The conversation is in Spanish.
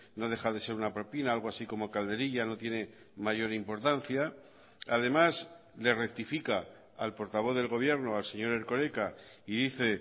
no deja de ser una propina algo así como calderilla no tiene mayor importancia además le rectifica al portavoz del gobierno al señor erkoreka y dice